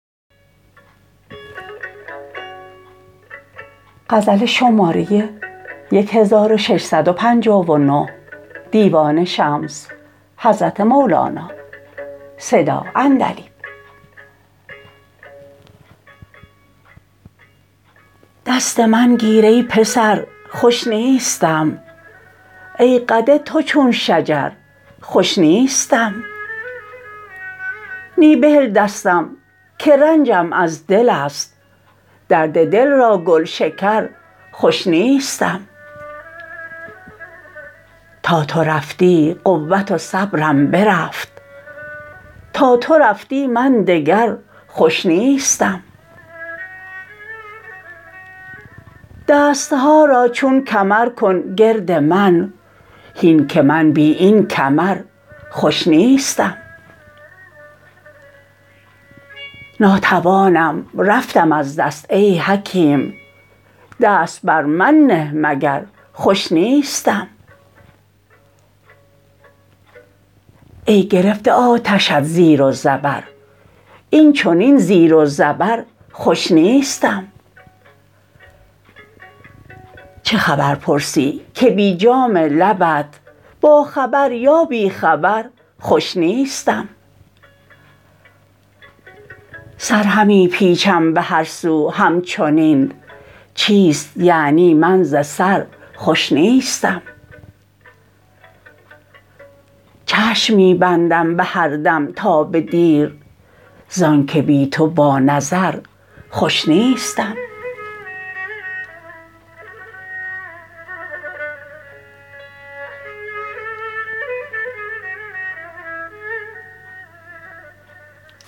دست من گیر ای پسر خوش نیستم ای قد تو چون شجر خوش نیستم نی بهل دستم که رنجم از دل است درد دل را گلشکر خوش نیستم تا تو رفتی قوت و صبرم برفت تا تو رفتی من دگر خوش نیستم دست ها را چون کمر کن گرد من هین که من بی این کمر خوش نیستم ناتوانم رفتم از دست ای حکیم دست بر من نه مگر خوش نیستم ای گرفته آتشت زیر و زبر این چنین زیر و زبر خوش نیستم چه خبر پرسی که بی جام لبت باخبر یا بی خبر خوش نیستم سر همی پیچم به هر سو همچنین چیست یعنی من ز سر خوش نیستم چشم می بندم به هر دم تا به دیر زانک بی تو با نظر خوش نیستم